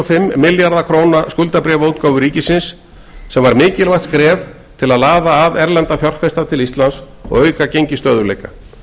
fimm milljarða króna skuldabréfaútgáfu ríkisins sem var mikilvægt skref til að laða að erlenda fjárfesta til íslands og auka gengisstöðugleika